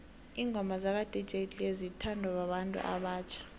ingoma zaka dj cleo zithondwa babantu obatjha